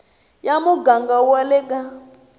ya muganga wa le ka